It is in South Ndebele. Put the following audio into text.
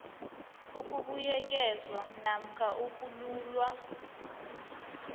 ukubuyekezwa namkha ukululwa